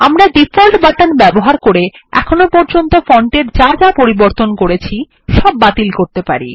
আমরা default button ব্যবহার করে আমরা ফন্টের যা যা পরিবর্তন করেছি সব বাতিল করতে পারি